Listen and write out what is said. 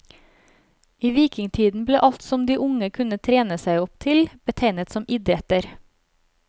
I vikingtiden ble alt som de unge kunne trene seg opp til, betegnet som idretter.